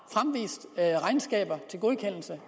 der er regnskaber til godkendelse